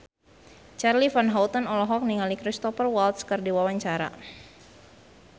Charly Van Houten olohok ningali Cristhoper Waltz keur diwawancara